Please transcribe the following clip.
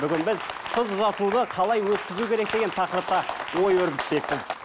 бүгін біз қыз ұзатуды қалай өткізу керек деген тақырыпқа ой өрбітпекпіз